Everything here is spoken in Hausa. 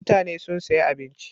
Mutane sun sayi abincin.